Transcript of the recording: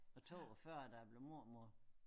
Og 42 da jeg blev mormor